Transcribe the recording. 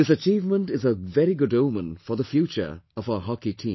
This achievement is a very good omen for the future of our Hockey team